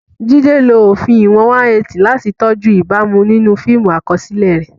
Jide lo òfin ìwọ̀n 180 láti tọ́jú ìbámu nínú fíìmù àkọsílẹ̀ rẹ̀.